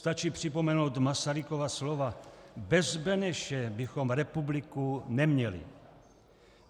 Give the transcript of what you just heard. Stačí připomenout Masarykova slova: "Bez Beneše bychom republiku neměli."